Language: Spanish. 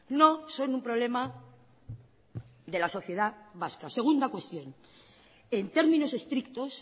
no son un problema de la sociedad vasca segunda cuestión en términos estrictos